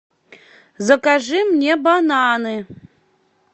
закажи мне бананы